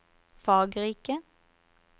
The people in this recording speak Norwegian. fargerike